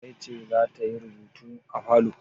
Larai ce za ta yi rubutu a falo?